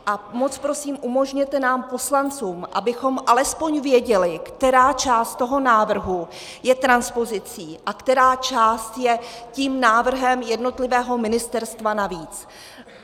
A moc prosím, umožněte nám, poslancům, abychom alespoň věděli, která část toho návrhu je transpozicí a která část je tím návrhem jednotlivého ministerstva navíc.